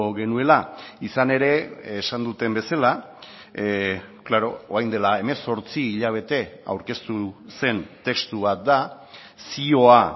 genuela izan ere esan duten bezala klaro orain dela hemezortzi hilabete aurkeztu zen testu bat da zioa